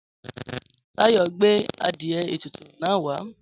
Táyò gbé adìe ètùtù náà wà